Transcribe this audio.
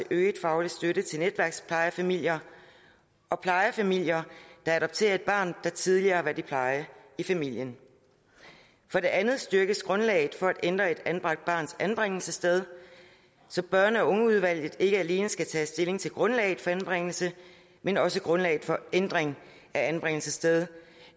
øget faglig støtte til netværksplejefamilier og plejefamilier der adopterer et barn der tidligere har været i pleje i familien for det andet styrkes grundlaget for at ændre et anbragt barns anbringelsessted så børn og ungeudvalget ikke alene skal tage stilling til grundlaget for anbringelsen men også grundlaget for ændringen af anbringelsesstedet